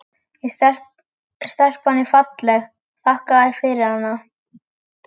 En stelpan er falleg, þakka þér fyrir hana.